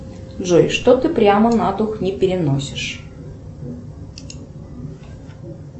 джой что ты прямо на дух не переносишь